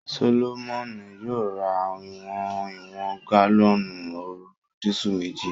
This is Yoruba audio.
Solomoni yóò ra ìwọ̀n ìwọ̀n gálọ́ọ̀nù òróró disú meji